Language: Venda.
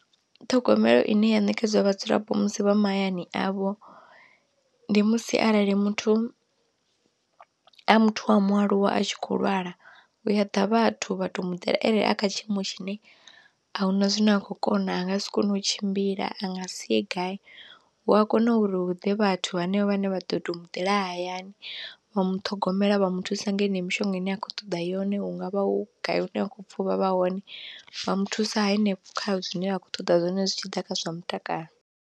Ṱhogomelo ine ya nekedzwa vhadzulapo musi vha mahayani avho, ndi musi arali muthu a muthu wa mualuwa a tshi kho lwala u a ḓa vhathu vha arali a kha tshiimo tshine ahuna zwine a khou kona a nga si kone u tshimbila, a nga si ye gai hu a kona uri hu ḓe vhathu hanevho vhane vha ḓo to muḓela hayani vha muṱhogomela vha muthusa nga heneyo mishonga ine a khou ṱoḓa yone hungavha hu gai hu ne ha khou pfa u vha vha hone vha muthusa hanefho kha zwine vha khou ṱoḓa zwone zwi tshi ḓa kha zwa mutakalo.